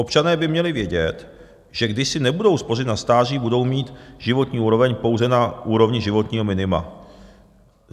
Občané by měli vědět, že když si nebudou spořit na stáří, budou mít životní úroveň pouze na úrovni životního minima.